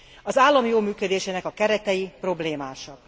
Az állam jó működésének a keretei problémásak.